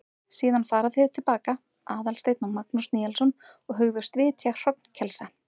Síðan fara þeir til baka, Aðalsteinn og Magnús Níelsson, og hugðust vitja hrognkelsa.